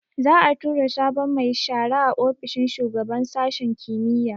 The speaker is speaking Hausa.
Za'a tura sabon mai shara a ofishin shugaban sashin kimiyya